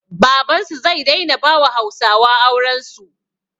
Babansu zai daina bawa hausawa aurensu